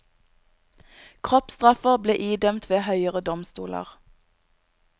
Kroppsstraffer ble idømt ved høyere domstoler.